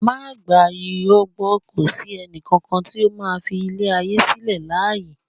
Má gba irọ́ gbó kò sí ẹnì kankan tí ó máa fi ilé ayé sílẹ̀ láàyè